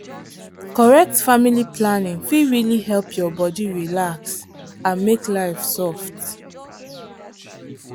correct family planning fit really help your body relax and make life soft.